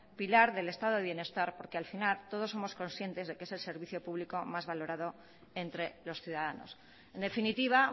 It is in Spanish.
pilar del estado de bienestar porque al final todos somos conscientes de que es el servicio público más valorado entre los ciudadanos en definitiva